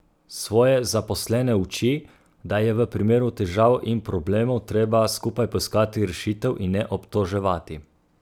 Svoje zaposlene uči, da je v primeru težav in problemov treba skupaj poiskati rešitev in ne obtoževati.